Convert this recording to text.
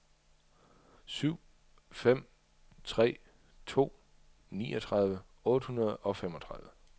syv fem tre to niogtredive otte hundrede og femogtredive